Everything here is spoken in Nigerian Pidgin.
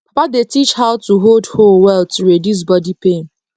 papa dey teach how to hold hoe well to reduce body pain